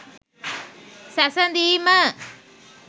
සැසඳීම